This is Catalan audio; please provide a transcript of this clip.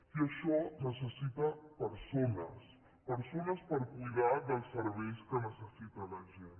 i això necessita persones persones per cuidar dels serveis que necessita la gent